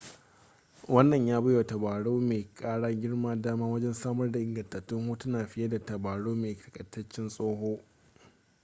wannan ya bai wa tabarau mai kara girma dama wajen samar da ingantattun hotuna fiye da na tabarau mai takaitaccen tsawo